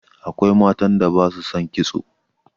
Akwai matan da ba su son kitso.